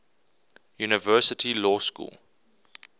university law school